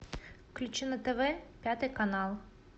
включи на тв пятый канал